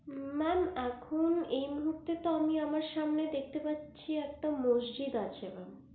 mam এখন এই মুহূর্তে আমি আমার সামনে দেখতে পাচ্ছি একটা মজজিদ আছে mam